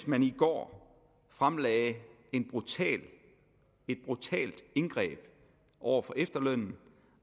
man i går fremlagde et brutalt indgreb over for efterlønnen